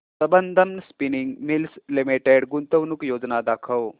Sambandam spinning mills limited गुंतवणूक योजना दाखव